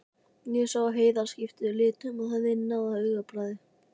Ég sá að Heiða skipti litum og þiðnaði á augabragði.